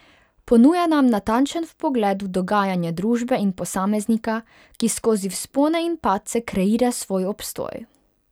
Ponuja nam natančen vpogled v dogajanje družbe in posameznika, ki skozi vzpone in padce kreira svoj obstoj.